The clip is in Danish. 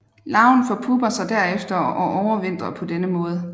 Larven forpupper sig derefter og overvintrer på denne måde